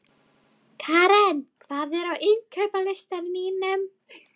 Keran, hvað er á innkaupalistanum mínum?